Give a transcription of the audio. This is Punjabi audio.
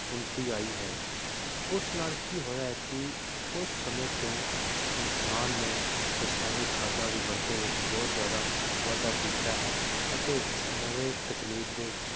ਉੱਨਤੀ ਆਈ ਹੈ ਉਸ ਨਾਲ ਕੀ ਹੋਇਆ ਹੈ ਕੀ ਉਸ ਸਮੇ ਤੋਂ ਇਨਸਾਨ ਨੇ ਰਸਾਇਣਿਕ ਖਾਦਾਂ ਦੀ ਵਰਤੋਂ ਵਿਚ ਬਹੁਤ ਜ਼ਿਆਦਾ ਵਾਧਾ ਕੀਤਾ ਹੈ ਅਤੇ ਨਵੇਂ ਤਕਨੀਕ ਦੇ